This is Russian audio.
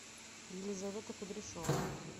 елизавета кудряшова